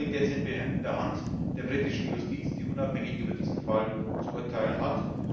Das liegt jetzt in der Hand der britischen Justiz, die unabhängig über diesen Fall zu urteilen hat.